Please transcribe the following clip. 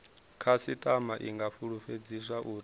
khasitama i nga fulufhedziswa uri